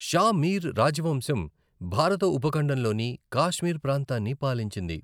షా మీర్ రాజవంశం భారత ఉపఖండంలోని కాశ్మీర్ ప్రాంతాన్ని పాలించింది.